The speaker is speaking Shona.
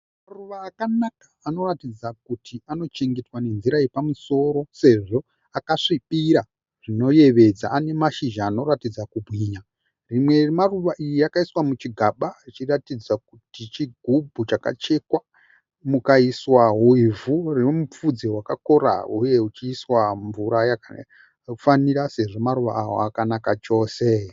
Maruva akanaka anoratidza kuti anochengetwa ne nzira yepamusoro Sezvo akasvibira zvinoyevedza. Ane mashizha anoratidza kubwinya. Rimwe remaruva aya rakaiswa muchigaba richiratidza kuti chigubhu chakachekwa. Mukaiswawo ivhu rine mupfudze wakakora uye uchiiswa mvura yakafanira sezvo maruva ava akanaka chose.